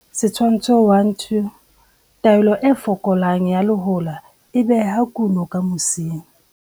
Setshwantsho 1, 2. Taolo e fokolang ya lehola e beha kuno ka mosing.